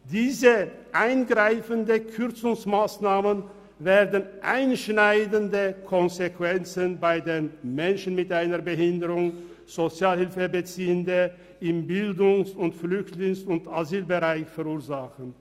Diese Kürzungsmassnahmen werden einschneidende Konsequenzen bei den Menschen mit einer Behinderung, bei Sozialhilfebeziehenden und im Bildungs-, Flüchtlings- und Asylbereich verursachen.